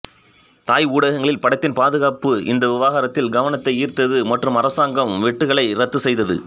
தாய் ஊடகங்களில் படத்தின் பாதுகாப்பு இந்த விவகாரத்தில் கவனத்தை ஈர்த்தது மற்றும் அரசாங்கம் வெட்டுக்களை ரத்து செய்தது